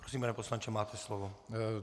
Prosím, pane poslanče, máte slovo.